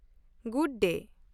-Good day.